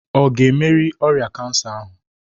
Ọ ga-emerị ọrịa kansa ahụ?